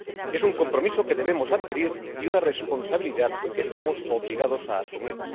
Es un compromiso que debemos adquirir y una responsabilidad que estamos obligados a asumir.